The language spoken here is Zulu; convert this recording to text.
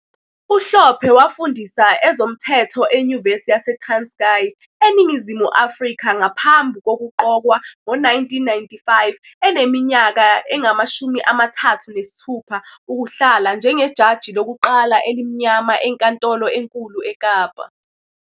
UHlophe wafundisa ezomthetho eNyuvesi yaseTranskei, eNingizimu Afrika, ngaphambi kokuqokwa ngo-1995, eneminyaka engama-36, ukuhlala njengejaji lokuqala elimnyama eNkantolo eNkulu eKapa.